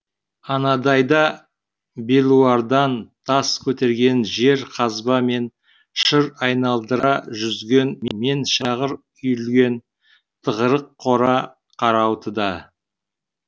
анадайда белуардан тас көтерген жер қазба мен шыр айналдыра жүзген мен шағыр үйілген тығырық қора қарауытуда